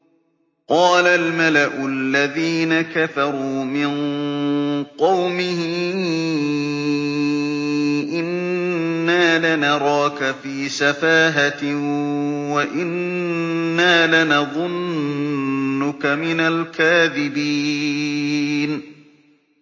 قَالَ الْمَلَأُ الَّذِينَ كَفَرُوا مِن قَوْمِهِ إِنَّا لَنَرَاكَ فِي سَفَاهَةٍ وَإِنَّا لَنَظُنُّكَ مِنَ الْكَاذِبِينَ